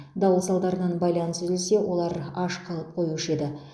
дауыл салдарынан байланыс үзілсе олар аш қалып қоюшы еді